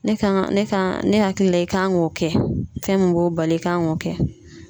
Ne kan ŋa ne kan ne hakili la i kan ŋ'o kɛ. Fɛn min b'o bali i kan ŋ'o kɛ.